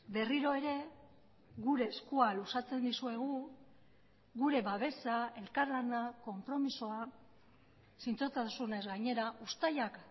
berriro ere gure eskua luzatzen dizuegu gure babesa elkarlana konpromisoa zintzotasunez gainera uztailak